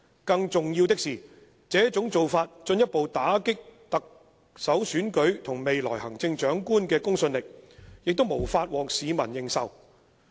更重要的是，這種做法進一步打擊了特首選舉和未來行政長官的公信力，也無法獲市民認受。